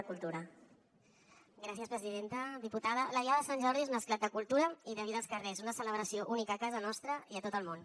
diputada la diada de sant jordi és un esclat de cultura i de vida als carrers una celebració única a casa nostra i a tot el món